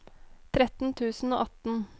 tretten tusen og atten